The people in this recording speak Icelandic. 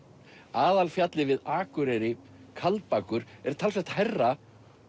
aðalfjallið við Akureyri Kaldbakur er talsvert hærra